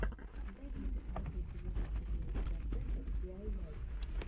дай мне посмотреть девяносто девять процентов диайвай